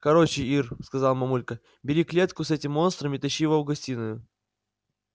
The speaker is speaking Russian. короче ир сказала мамулька бери клетку с этим монстром и тащи его в гостиную